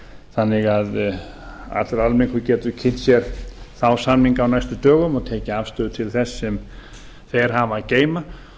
þannig að allur almenningur getur kynnt sér þá samninga á næstu dögum og tekið afstöðu til þess sem þeir hafa að geyma